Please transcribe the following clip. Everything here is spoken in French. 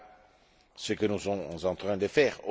Voilà ce que nous sommes en train de faire.